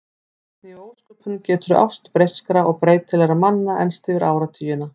Hvernig í ósköpunum getur ást breyskra og breytilegra manna enst yfir áratugina?